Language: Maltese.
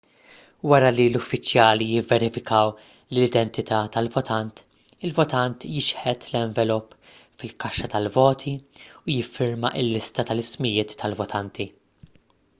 wara li l-uffiċjali jivverifikaw l-identità tal-votant il-votant jixħet l-envelop fil-kaxxa tal-voti u jiffirma l-lista tal-ismijiet tal-votanti